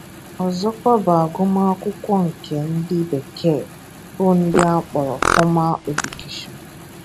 Ọzọkwa bụ agụmakwụkwọ nke ndị Bekee bụ nke akpọrọ ‘formal education’.